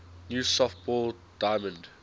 new softball diamond